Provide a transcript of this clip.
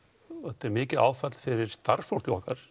þetta er mikið áfall fyrir starfsfólkið okkar